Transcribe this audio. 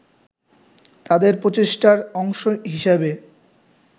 তাদের প্রচেষ্টার অংশ হিসেবে